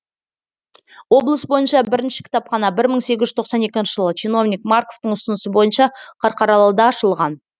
облыс бойынша бірінші кітапхана бір мың сегіз жүз тоқсан екінші жылы чиновник марковтың ұсынысы бойынша қарқаралыда ашылған